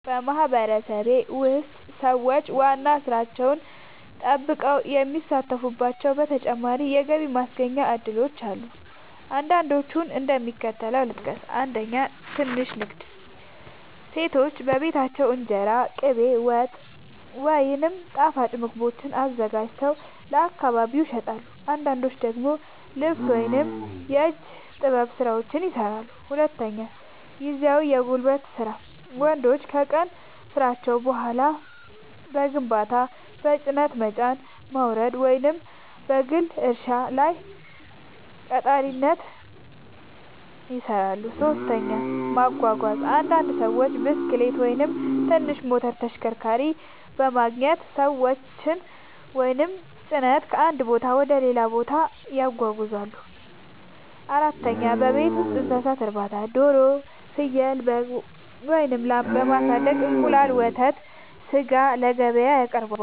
በማህበረሰቤ ውስጥ ሰዎች ዋና ሥራቸውን ጠብቀው የሚሳተፉባቸው ተጨማሪ የገቢ ማስገኛ እድሎች አሉ። አንዳንዶቹን እንደሚከተለው ልጠቅስ፦ 1. ትንሽ ንግድ – ሴቶች በቤታቸው እንጀራ፣ ቅቤ፣ ወጥ ወይም ጣፋጭ ምግቦችን አዘጋጅተው ለአካባቢ ይሸጣሉ። አንዳንዶች ደግሞ ልብስ ወይም የእጅ ጥበብ ሥራዎችን ይሠራሉ። 2. ጊዜያዊ የጉልበት ሥራ – ወንዶች ከቀን ሥራቸው በኋላ በግንባታ፣ በጭነት መጫንና ማውረድ፣ ወይም በግል እርሻ ላይ ቀጣሪነት ይሠራሉ። 3. ማጓጓዝ – አንዳንድ ሰዎች ብስክሌት ወይም ትንሽ ሞተር ተሽከርካሪ በማግኘት ሰዎችን ወይም ጭነት ከአንድ ቦታ ወደ ሌላ ያጓጉዛሉ። 4. የቤት ውስጥ እንስሳት እርባታ – ዶሮ፣ ፍየል፣ በግ ወይም ላም በማሳደግ እንቁላል፣ ወተት ወይም ሥጋ ለገበያ ያቀርባሉ።